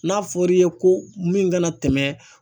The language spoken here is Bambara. N'a fɔra i ye ko min kana tɛmɛ